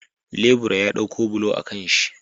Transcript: Lebura ya ɗauko bulo a kanshi